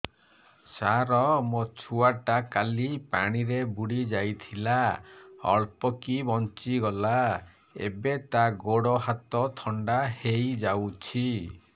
ସାର ମୋ ଛୁଆ ଟା କାଲି ପାଣି ରେ ବୁଡି ଯାଇଥିଲା ଅଳ୍ପ କି ବଞ୍ଚି ଗଲା ଏବେ ତା ଗୋଡ଼ ହାତ ଥଣ୍ଡା ହେଇଯାଉଛି